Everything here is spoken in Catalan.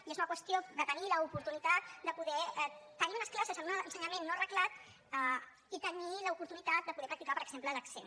i és una qüestió de tenir l’oportunitat de poder tenir unes classes amb un ensenyament no reglat i tenir l’oportunitat de poder practicar per exemple l’accent